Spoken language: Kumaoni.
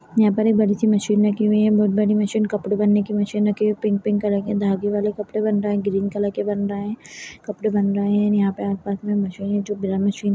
यहाँ पर एक बड़ी सी मशीन रखी हुई है बहोत बड़ी मशीन कपड़े बनने की मशीन रखी हुई है पिंक -पिंक कलर के धागे वाले कपड़े बन रहे हैं ग्रीन कलर के बन रहे हैं कपड़े बन रहे हैं यहाँ पर आसपास मशीन है जो बिना मशीन --